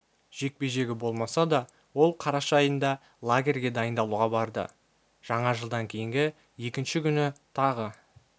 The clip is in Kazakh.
жекпе-жегі болмаса да ол қараша айында лагерге дайындалуға барды жаңа жылдан кейінгі екінші күні тағы